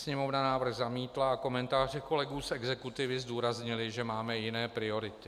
Sněmovna návrh zamítla a komentáře kolegů z exekutivy zdůraznily, že máme jiné priority.